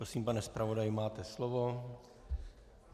Prosím, pane zpravodaji, máte slovo.